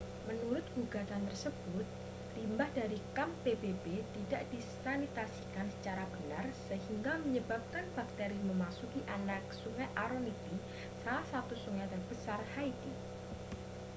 menurut gugatan tersebut limbah dari kamp pbb tidak disanitasikan secara benar sehingga menyebabkan bakteri memasuki anak sungai aronitie salah satu sungai terbesar haiti